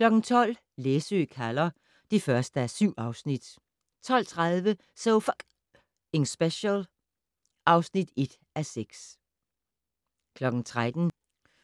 12:00: Læsø kalder (1:7) 12:30: So F***ing Special (1:6) 13:00: